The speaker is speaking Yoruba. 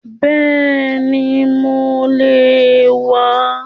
Bẹ́ẹ̀ni mo le wà á